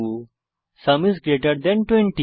sum is greater than 20